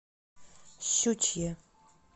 щучье